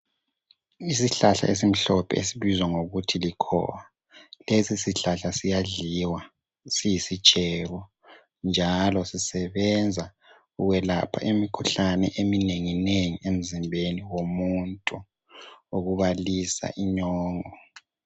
Isihlahla esimhlophe esibizwa ngokuthi likhowa, lesi sihlahla siyadliwa siyisitshebo njalo sisebenza ukwelapha imikhuhlane eminenginengi emzimbeni womuntu okubalisa inyongo